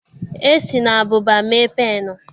E si na ábụbà mee pennụ